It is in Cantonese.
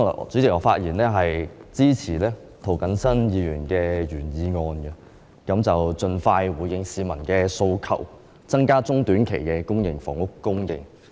主席，我發言支持涂謹申議員的原議案，要求政府盡快回應市民的訴求，增加短中期的公營房屋供應。